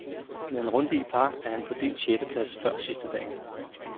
Med en runde i par er han på delt sjette plads før sidstedagen.